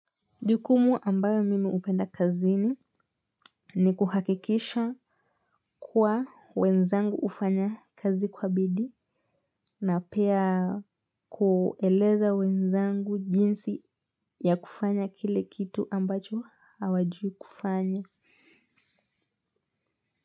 Jukumu ambayo mimi hupenda kazini ni kuhakikisha kuwa wenzangu hufanya kazi kwa bidii na pia kueleza wenzangu jinsi ya kufanya kile kitu ambacho hawajui kufanya.